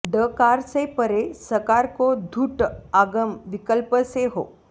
डकार से परे सकार को धुट् आगम विकल्प से हो